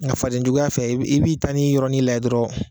Nka fadebjuguya fɛ i b'i ta nin yɔrɔnin la jɛ dɔrɔnw